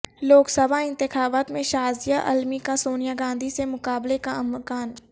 لوک سبھا انتخابات میں شازیہ علمی کا سونیا گاندھی سے مقابلے کا امکان